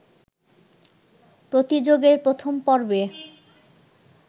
প্রতিযোগের প্রথম পর্বে